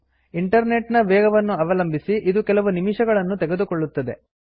internet ನ ವೇಗವನ್ನು ಅವಲಂಬಿಸಿ ಇದು ಕೆಲವು ನಿಮಿಷಗಳನ್ನು ತೆಗೆದುಕೊಳ್ಳುತ್ತದೆ